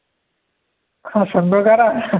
हा संघ कारा